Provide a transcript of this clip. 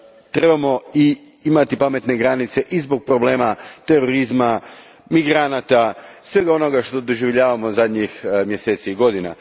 trebamo imati pametne granice i zbog problema terorizma, migranata, svega onoga što doživljavamo zadnjih mjeseci i godina.